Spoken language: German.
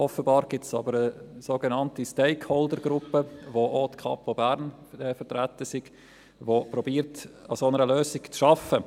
Aber offenbar gibt es eine sogenannte Stakeholdergruppe, in der auch die Kantonspolizei Bern (Kapo Bern) vertreten sei, die versucht, an einer solchen Lösung zu arbeiten.